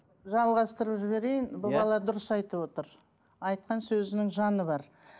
жалғастырып жіберейін бұл бала дұрыс айтып отыр айтқан сөзінің жаны бар